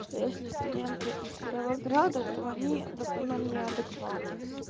что если студенты из кировограда то они в основном неадекваты